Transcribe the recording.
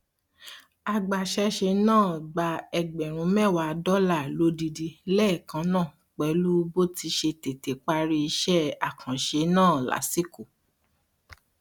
agbaṣẹṣe náà gba ẹgbẹrún mẹwàá dọlà lódidi lẹẹkan náà pẹlú bó ti ṣe tètè parí iṣẹ àkànṣe náà lásìkò